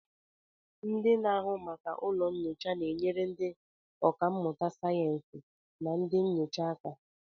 Ndị na-ahụ maka ụlọ nyocha na-enyere ndị ọkà mmụta sayensị na ndị nyocha aka